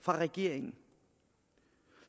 fra regeringen